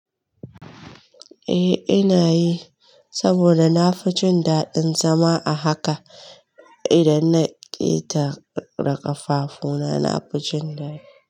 Eh ina yi, saboda na fi jin daɗin zama a haka. Idan na ƙeta ƙafafuna na fi jin daɗi.